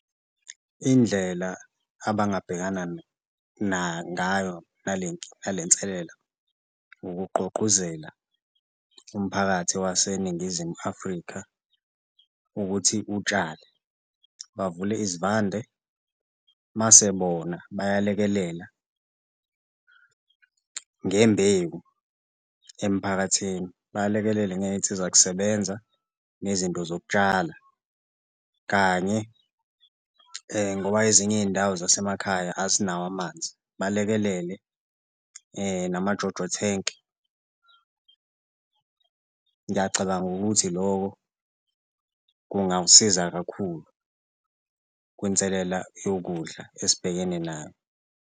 Indlela abangabhekana ngayo nale nselelo ukugqugquzela umphakathi waseNingizimu Afrika ukuthi utshale bavule izivande mase bona bayalekelela ngembewu emphakathini, balekelele ngey'nsiza kusebenza nezinto zokutshala kanye ngoba ezinye iy'ndawo zasemakhaya azinawo amanzi, balekelele nama-JoJo tank. Ngiyacabanga ukuthi loko kungawusiza kakhulu kunselela yokudla esibhekene nayo.